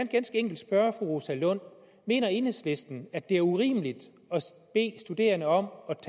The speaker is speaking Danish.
ganske enkelt spørge fru rosa lund mener enhedslisten at det er urimeligt at bede studerende om